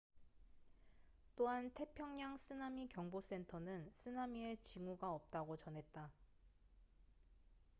또한 태평양 쓰나미 경보 센터는 쓰나미의 징후가 없다고 전했다